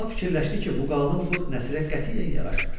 Əlibəla fikirləşdi ki, bu qalın bığ Nəsirə qətiyyən yaraşmır.